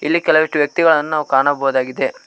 ಇಲ್ಲಿ ಕೆಲವಷ್ಟು ವ್ಯಕ್ತಿಗಳನ್ನು ನಾವು ಕಾಣಬೋದಾಗಿದೆ.